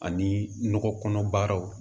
Ani nɔgɔ kɔnɔ baaraw